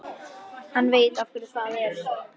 Hann var nú að bregða manni um trúleysi.